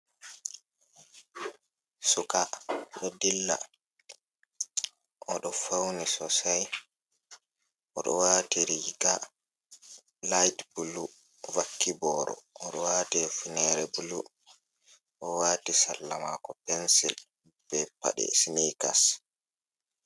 Suka ɗo dilla oɗo fawni sosai oɗo waati riiga layt bulu vakki boro. Oɗo waati hufunere bulu, o waati salla maako pensil, be paɗe sinikas.